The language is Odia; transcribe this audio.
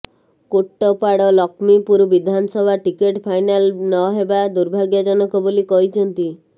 କୋଟ୍ଟପାଡ ଲକ୍ଷ୍ମୀପୁର ବିଧାନସଭା ଟିକେଟ୍ ଫାଇନାଲ ନହେବା ଦୁର୍ଭାଗ୍ୟଜନକ ବୋଲି କହିଛନ୍ତି